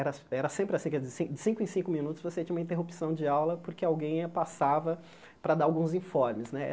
Eh era sempre assim, de cinco em cinco minutos você tinha uma interrupção de aula porque alguém passava para dar alguns informes né.